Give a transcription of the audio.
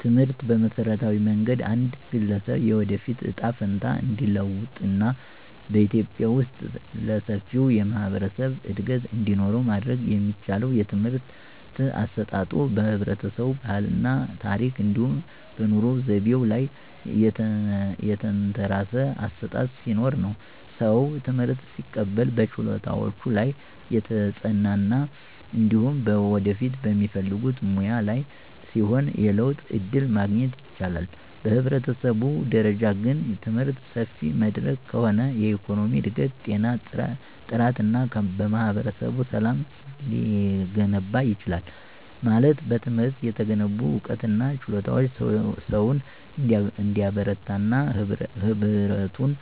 ትምህርትን በመሠረታዊ መንገድ አንድ ግለሰብ የወደፊት እጣ ፈንታ እንዲለወጥ እና በኢትዮጵያ ውስጥ ለሰፊው የህብረተሰብ እድገት እንዲኖረው ማድረግ የሚቻለው የትምህርት አሰጣጡ በህብረተሰቡ ባህል እና ታረክ እንዲሁም በኑሮ ዘይቤው ላይ የተንተራሰ አሠጣጥ ሲኖርነው። ሰው ትምህርት ሲቀበል በችሎታዎቹ ላይ የተጽናና እንዲሁም በወደፊት በሚፈልጉት ሙያ ላይ ሲሆን የለውጥ ዕድል ማግኘት ይችላል። በህብረተሰብ ደረጃ ግን፣ ትምህርት ሰፊ መድረክ ከሆነ የኢኮኖሚ እድገት፣ ጤና ጥራት እና ማህበረሰብ ሰላም ሊገነባ ይችላል። ማለት በትምህርት የተገነቡ ዕውቀትና ችሎታዎች ሰውን እንዲበረታና ህብረቱን